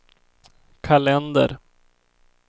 kalender